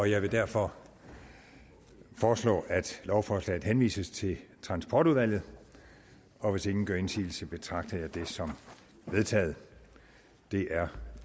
jeg vil derfor foreslå at lovforslaget henvises til transportudvalget og hvis ingen gør indsigelse betragter jeg det som vedtaget det er